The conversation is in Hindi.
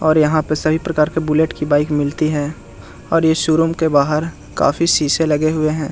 और यहाँ पे सभी प्रकार की बुलेट की बाइक मिलती है और इस शोरूम के बाहर काफी शीशे लगे हुए हैं ।